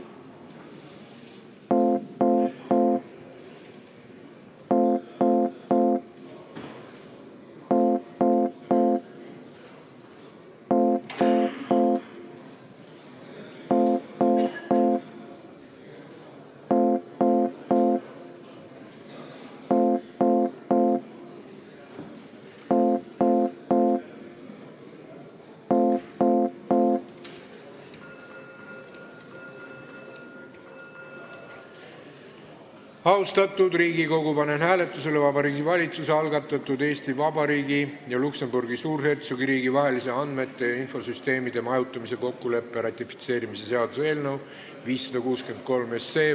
Austatud Riigikogu, panen hääletusele Vabariigi Valitsuse algatatud Eesti Vabariigi ja Luksemburgi Suurhertsogiriigi vahelise andmete ja infosüsteemide majutamise kokkuleppe ratifitseerimise seaduse eelnõu 563.